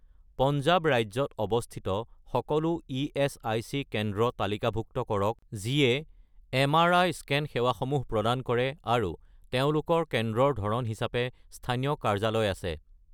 পঞ্জাৱ ৰাজ্যত অৱস্থিত সকলো ইএচআইচি কেন্দ্ৰ তালিকাভুক্ত কৰক যিয়ে এম আৰ আই স্কেন সেৱাসমূহ প্ৰদান কৰে আৰু তেওঁলোকৰ কেন্দ্ৰৰ ধৰণ হিচাপে স্থানীয় কাৰ্যালয় আছে।